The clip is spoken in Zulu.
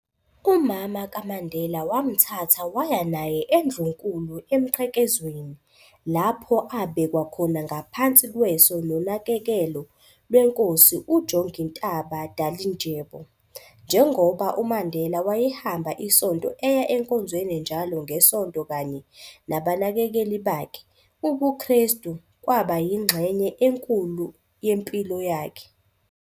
Umama kaMandela wamthatha waya naye eNdlunkkulu eMqhekezweni, lapho abekwa khona ngaphansi kweso nonakekelo lweNkosi uJongintaba Dalindyebo. Njengoba uMandela wayehamba isonto eya enkonzweni njalo ngeSonto kanye nabanakekeli bakhe, ubuKrestu kwabayingxenye enkulu yempilo yakhe.